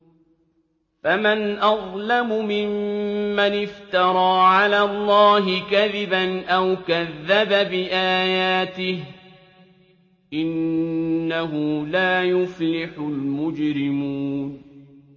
فَمَنْ أَظْلَمُ مِمَّنِ افْتَرَىٰ عَلَى اللَّهِ كَذِبًا أَوْ كَذَّبَ بِآيَاتِهِ ۚ إِنَّهُ لَا يُفْلِحُ الْمُجْرِمُونَ